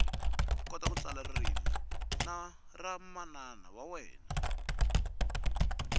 kota ku tsala ririmi ra manana wa wena